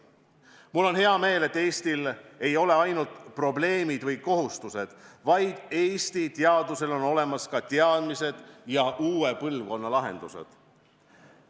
Mul on hea meel, et Eestis ei ole ainult probleemid või kohustused, vaid Eesti teadusel on olemas ka teadmised ja uue põlvkonna lahendused.